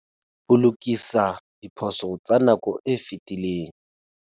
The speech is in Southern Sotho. Ho lokisa diphoso tsa nako e fetileng.